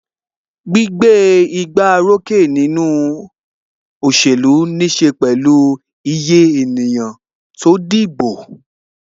Gbígbé igbá orókè nínú òṣèlú níse pẹ̀lú iye ènìyàn tó dìbò.